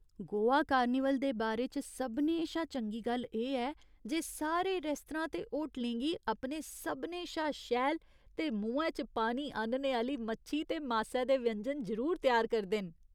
Goa carnival दे बारे च सभनें शा चंगी गल्ल एह् ऐ जे सारे रेस्तरां ते होटलें गी अपने सभनें शा शैल ते मुहैं च पानी आह्‌न्ने आह्‌ली मच्छी ते मासै दे व्यंजन जरूर त्यार करदे न।